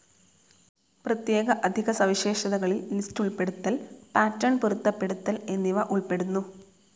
പ്രത്യേക അധിക സവിശേഷതകളിൽ ലിസ്റ്റ്‌ ഉൾപ്പെടുത്തൽ, പാറ്റർൻ പൊരുത്തപ്പെടുത്തൽ എന്നിവ ഉൾപ്പെടുന്നു.